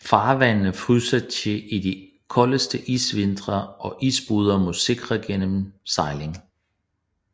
Farvandene fryser til i de koldeste isvintre og isbrydere må sikre gennemsejlingen